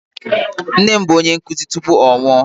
Nne m bụ onye nkụzi tupu ọ nwụọ.